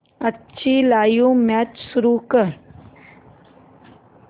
आजची live match सुरू कर